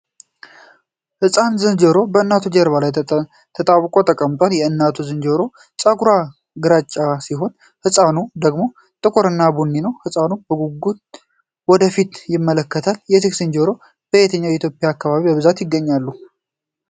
ሕፃን ዝንጀሮ በእናቱ ጀርባ ላይ ተጣብቆ ተቀምጧል። የእናቲቱ ዝንጀሮ ፀጉሯ ግራጫ ሲሆን የሕፃኑ ደግሞ ጥቁርና ቡኒ ነው። ሕፃኑ በጉጉት ወደ ፊት ይመለከታል። እነዚህ ዝንጀሮዎች በየትኛው የኢትዮጵያ አካባቢ በብዛት ይገኛሉ?